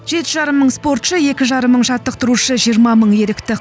жеті жарым мың спортшы екі жарым мың жаттықтырушы жиырма мың ерікті